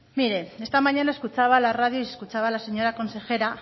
mire esta mañana escuchaba la radio y escuchaba a la señora consejera